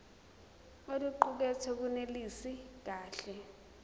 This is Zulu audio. oluqukethwe lunelisi kahle